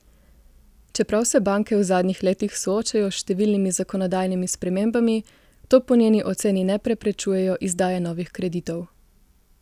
Čeprav se banke v zadnjih letih soočajo s številnimi zakonodajnimi spremembami, to po njeni oceni ne preprečujejo izdaje novih kreditov.